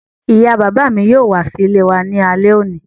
Ìyá bàbá mi yóò wá sí ilé wa ní alẹ́ òní